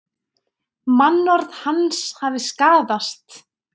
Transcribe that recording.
Mannorð hans hafi skaðast